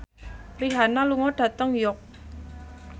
Rihanna lunga dhateng York